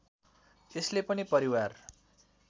यसले पनि परिवार